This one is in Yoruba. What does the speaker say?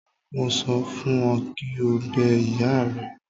Mo sọ fún ọ kí o bẹ ìyá rẹ.